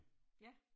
Ja